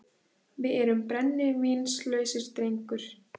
Við erum brennivínslausir, drengur.